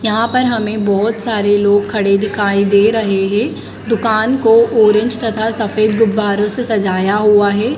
यहां पर हमें बहुत सारे लोग खड़े दिखाई दे रहे है दुकान को ऑरेंज तथा सफेद गुब्बारों से सजाया हुआ है।